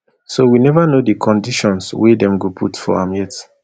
so we never know di conditions wey dem go put for am yet